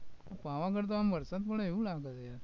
પાવાગઢમાં આમ વરસાદ પડે એવું લાગે છે,